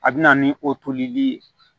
A bɛ na ni o tolili ye